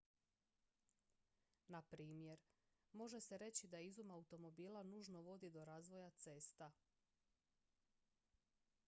na primjer može se reći da izum automobila nužno vodi do razvoja cesta